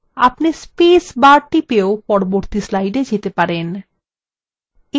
আপনি space bar টিপেও পরবর্তী slide যেতে পারেন